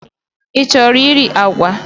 I chọrọ iri agwa?